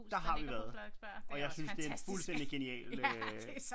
Der har vi været og jeg synes det er en fuldstændig genial øh